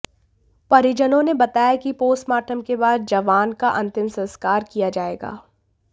परिजनों ने बताया कि पोस्टमार्टम के बाद जवान का अंतिम संस्कार किया जाएगा